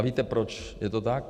A víte, proč je to tak?